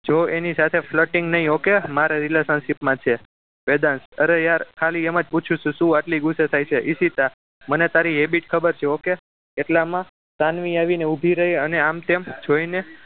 જો એની સાથે flirting નહીં okay મારા relationship માં છે વેદાંત અરે યાર ખાલી એમ જ પૂછું છું શું આટલી ગુસ્સે થાય છે ઈશિતા મને તારી habit ખબર છે okay એટલામાં સાનવી આવીને ઊભી રહી અને આમ તેમ જોઈને